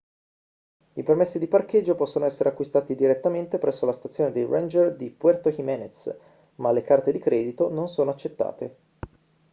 i permessi di parcheggio possono essere acquistati direttamente presso la stazione dei ranger di puerto jiménez ma le carte di credito non sono accettate